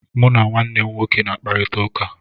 Mụ na nwanne m nwoke na-akparịta ụka.